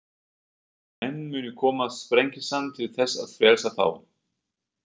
Menn munu koma Sprengisand til þess að frelsa þá.